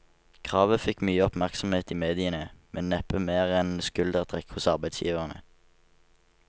Kravet fikk mye oppmerksomhet i mediene, men neppe mer enn et skuldertrekk hos arbeidsgiverne.